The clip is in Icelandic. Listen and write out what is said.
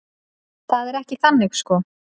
Það er ekki þannig sko.